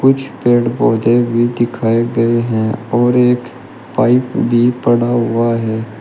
कुछ पेड़ पौधे भी दिखाए गए हैं और एक पाइप भी पड़ा हुआ है।